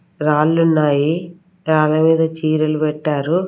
రాళ్ళు ఉన్నాయి రాళ్ళ మీద చీరలు పెట్టారు.